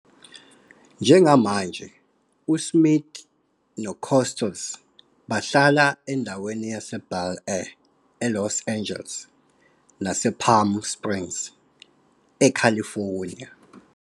Njengamanje, uSmith noCostos bahlala endaweni yaseBel Air eLos Angeles nasePalm Springs, eCalifornia.